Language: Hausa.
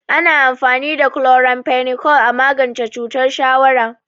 Ana amfani da chloramphenicol a magance cutar shawara.